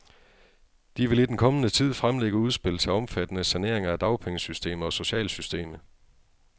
De vil i den kommende tid fremlægge udspil til omfattende saneringer af dagpengesystemet og socialsystemet.